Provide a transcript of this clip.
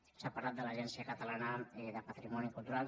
s’ha parlat de l’agència catalana de patrimoni cultural